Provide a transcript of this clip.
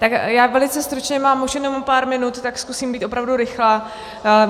Tak já velice stručně, mám už jenom pár minut, tak zkusím být opravdu rychlá.